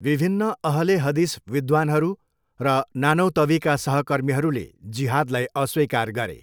विभिन्न अहल ए हदिस विद्वान्हरू र नानौतवीका सहकर्मीहरूले जिहादलाई अस्वीकार गरे।